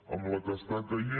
amb la que està caient